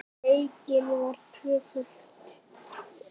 Leikin var tvöföld umferð.